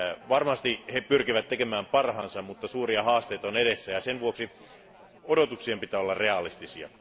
Varmasti he pyrkivät tekemään parhaansa, mutta suuria haasteita on kuitenkin edessä, ja sen vuoksi odotuksien pitää olla realistisia.